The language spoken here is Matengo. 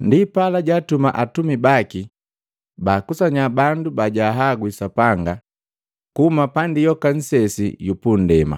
Ndipala jaatuma atumi baki baakusanya bandu bajahagwi Sapanga kuhuma pandi yoka nnsesi yu pundema.